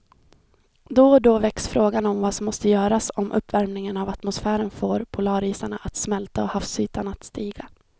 Då och då väcks frågan om vad som måste göras om uppvärmingen av atmosfären får polarisarna att smälta och havsytan att stiga.